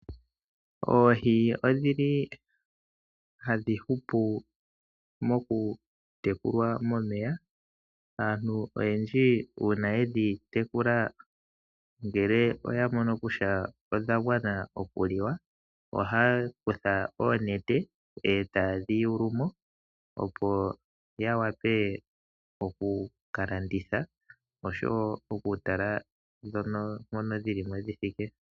Oohi odhili hadhi hupu mokutekulwa momeya. Aantu oyendji uuna yedhi tekula ngele oya mono kutya odha gwana okuliwa ohaya kutha oonete eta yedhi yulumo opo yavule oku kalanditha oshowo okutala ndhono dhilimo mpa dhithike.